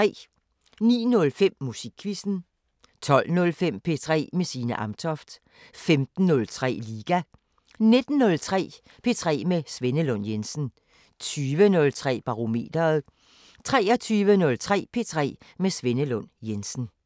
09:05: Musikquizzen 12:05: P3 med Signe Amtoft 15:03: Liga 19:03: P3 med Svenne Lund Jensen 20:03: Barometeret 23:03: P3 med Svenne Lund Jensen